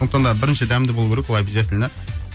сондықтан да бірінші дәмді болу керек ол обязательно